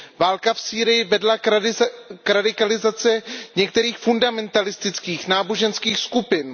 Válka v Sýrii vedla k radikalizaci některých fundamentalistických náboženských skupin.